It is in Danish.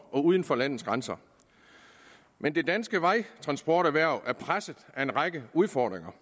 uden for landets grænser men det danske vejtransporterhverv er presset af en række udfordringer